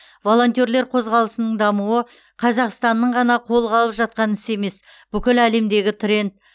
волонтерлер қозғалысының дамуы қазақстанның ғана қолға алып жатқан ісі емес бүкіл әлемдегі тренд